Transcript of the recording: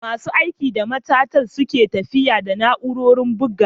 Masu aiki da matattarar sun ke tafiyar da na'urori a matattarar buga.